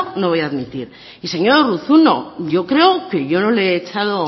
no lo voy a admitir y señor urruzuno yo creo que yo no le he echado